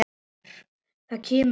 Það kemur og fer.